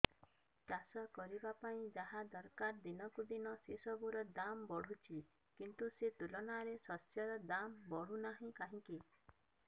ଚାଷ କରିବା ପାଇଁ ଯାହା ଦରକାର ଦିନକୁ ଦିନ ସେସବୁ ର ଦାମ୍ ବଢୁଛି କିନ୍ତୁ ସେ ତୁଳନାରେ ଶସ୍ୟର ଦାମ୍ ବଢୁନାହିଁ କାହିଁକି